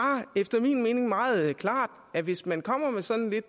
efter min mening meget klart at hvis man kommer med sådan lidt